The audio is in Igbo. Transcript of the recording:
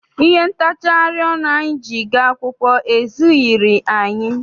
Ihe ntachari ọnụ anyị ji gaa akwụkwọ ezughịri anyị.